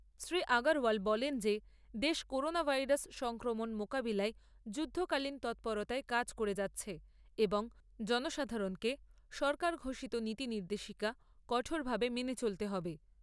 শ্রী আগরওয়াল বলেন যে দেশ করোনা ভাইরাস সংক্রমণ মোকাবিলায় যুদ্ধকালীন তৎপরতায় কাজ করে যাচ্ছে এবং জনসাধারণকে সরকার ঘোষিত নীতি নির্দেশিকা কঠোরভাবে মেনে চলতে হবে।